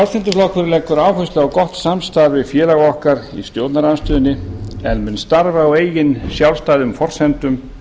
frjálslyndi flokkurinn leggur áherslu á gott samstarf við félaga okkar í stjórnarandstöðunni en mun starfa á eigin sjálfstæðu forsendum